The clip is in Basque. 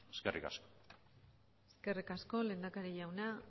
eskerrik asko eskerrik asko lehendakari jauna